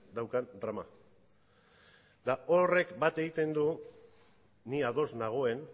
daukan drama eta horrek bat egiten du ni ados nagoen